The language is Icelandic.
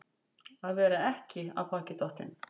Að vera ekki af baki dottinn